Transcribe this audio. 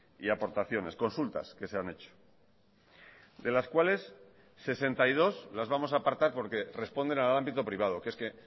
y aportaciones consultas que se han hecho de las cuales sesenta y dos las vamos a apartar porque responden al ámbito privado que es que